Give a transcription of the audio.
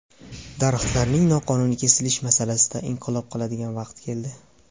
Daraxtlarning noqonuniy kesilishi masalasida inqilob qiladigan vaqt keldi.